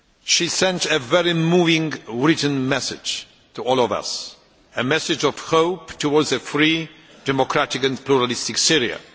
She sent a very moving written message to all of us, a message of hope towards a free, democratic and pluralist Syria.